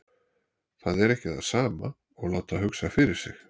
Það er ekki það sama og láta hugsa fyrir sig.